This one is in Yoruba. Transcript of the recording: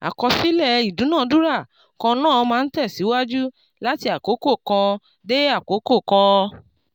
àkọsílẹ̀ ìdúnadúrà kan náà máa ń tẹ̀síwájú láti àkókò kan dé àkókò kan.